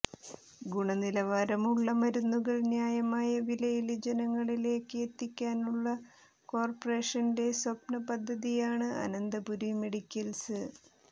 ഗുണനിലവാരമുള്ള മരുന്നുകൾ ന്യായമായ വിലയില് ജനങ്ങളിലേക്ക് എത്തിക്കാനുള്ള കോര്പ്പറേഷന്റെ സ്വപ്ന പദ്ധതിയാണ് അനന്തപുരി മെഡിക്കല്സ്